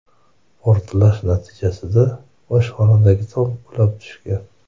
Portlash natijasida oshxonadagi tom qulab tushgan.